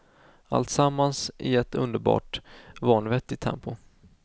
Alltsammans i ett underbart, vanvettigt tempo.